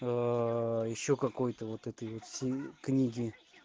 ещё какой-то вот этой всей книги